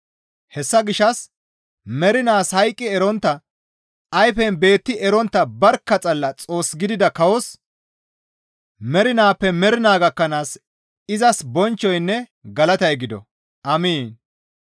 Hessa gishshas mernaas hayqqi erontta, ayfen beetti erontta barkka xalla Xoos gidida kawos mernaappe mernaa gakkanaas izas bonchchoynne galatay gido. Amiin.